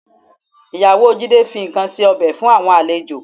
Ìyàwó Jídé fi ikàn ṣe ọbẹ̀ fún àwọn àlejò